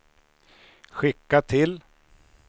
skicka till